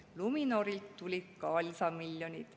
Luminorilt tulid ka lisamiljonid.